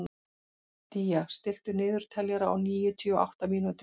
Día, stilltu niðurteljara á níutíu og átta mínútur.